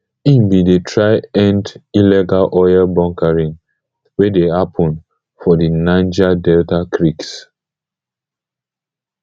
im bin dey try end illegal oil bunkering wey dey happun for di niger delta creeks